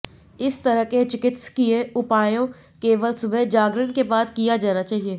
इस तरह के चिकित्सकीय उपायों केवल सुबह जागरण के बाद किया जाना चाहिए